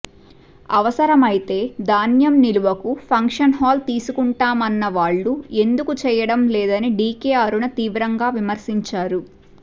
అవసరమైతే ధాన్యం నిలువకు ఫంక్షన్హాల్ తీసుకుంటామన్న వాళ్లు ఎందుకు చేయడం లేదని డీకే అరుణ తీవ్రంగా విమర్శించారు